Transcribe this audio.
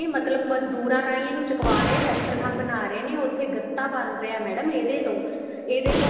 ਮਤਲਬ ਮਜੂਦਰਾਂ ਰਾਹੀ ਇਹਨੂੰ ਚੱਕਵਾ ਰਹੇ ਫੈਕਟਰੀਆਂ ਬਣਾ ਰਹੇ ਨੇ ਉੱਥੇ ਗੱਤਾ ਬਣ ਰਿਹਾ ਏ madam ਇਹਦੇ ਤੋਂ ਇਹਦੇ ਤੋਂ